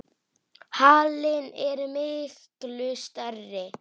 Halinn er miklu stærri.